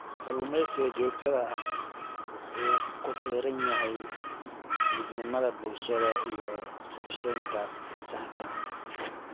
Kalluumeysiga joogtada ahi wuxuu ku xiran yahay midnimada bulshada iyo qorsheynta saxda ah.